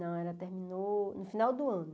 Não, ela terminou no final do ano.